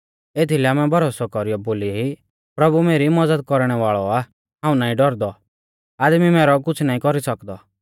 एथीलै आमै भरोसौ कौरीयौ बोली ई प्रभु मेरी मज़द कौरणै वाल़ौ आ हाऊं नाईं डौरदौ आदमी मैरौ कुछ़ नाईं कौरी सौकदौ